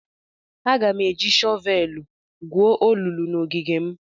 Aga m eji shọvelụ gwuo olulu n'ogige m.